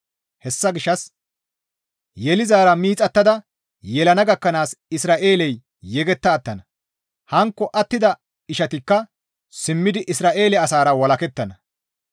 Hessa gishshas yelizaara miixattada yelana gakkanaas Isra7eeley yegetta attana; hankko attida ishatikka simmidi Isra7eele asara walakettana.